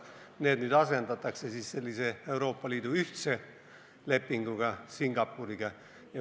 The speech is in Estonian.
Need asendatakse nüüd Euroopa Liidu ühtse lepinguga Singapuriga.